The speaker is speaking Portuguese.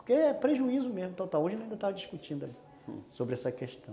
Porque é prejuízo mesmo, total, hoje a gente ainda está discutindo sobre essa questão,